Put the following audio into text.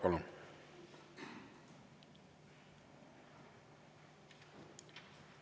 Palun!